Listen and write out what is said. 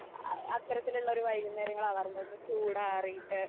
ആ അത്തരത്തിലുള്ള ഒരു വൈകുന്നേരങ്ങള് ആവാറുണ്ട്. ഒന്ന് ചൂട് ആറിയിട്ട്